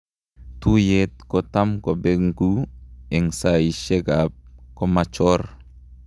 Tuyet kotam kopengu en saishek ap komachor